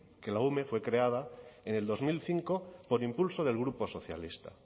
que la ume fue creada en el dos mil cinco por impulso del grupo socialista